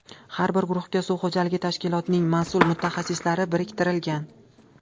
Har bir guruhga suv xo‘jaligi tashkilotining mas’ul mutaxassislari biriktirilgan.